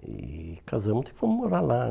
e casamos e fomos morar lá.